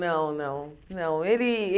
Não, não, não. Ele